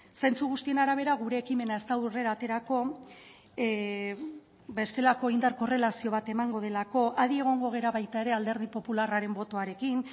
zentzu guztien arabera gure ekimena ez da aurrera aterako bestelako indar korrelazio bat emango delako adi egongo gara baita ere alderdi popularraren botoarekin